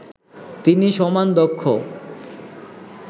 তিনি সমান দক্ষ